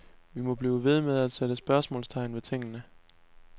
Vi må blive ved med at sætte spørgsmålstegn ved tingene.